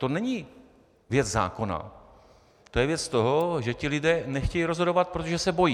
To není věc zákona, to je věc toho, že ti lidé nechtějí rozhodovat, protože se bojí.